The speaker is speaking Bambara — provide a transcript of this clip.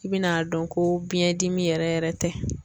I bi n'a dɔn ko biyɛn dimi yɛrɛ yɛrɛ tɛ